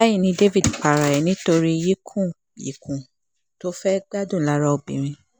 báyì ni david para rẹ̀ nítorí yíkùnyìnkùn tó fẹ́ẹ́ gbádùn lára obìnrin